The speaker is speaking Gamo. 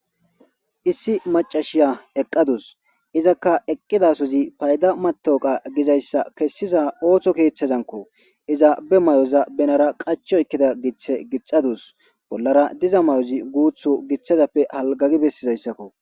Issi macashiya eqadusu izakka eqidasozi fayda matoqa gizaysa kesiza otho kethazankko iza be mayoza benara qachi oykida githe gixadausu bollara diza mayozi guthu halgagi besizaysakko